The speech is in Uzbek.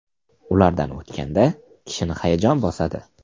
Ulardan o‘tganda kishini hayajon bosadi.